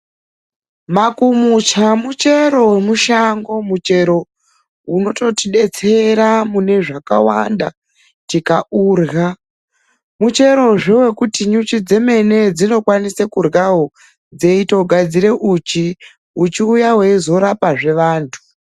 Makumucha muchero wemushango muchero unototidetsera mune zvakawanda tikaurya. Mucherozve wekuti nyuchi dzemene dzinokwanisa kuryawo dzeitogadzira uchi uchi uya weizorapazve vanhu.